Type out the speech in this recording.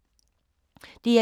DR1